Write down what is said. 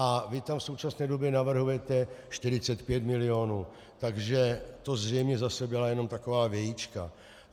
A vy tam v současné době navrhujete 45 milionů, takže to zřejmě zase byla jenom taková vějička.